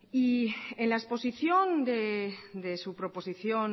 en la exposición de su proposición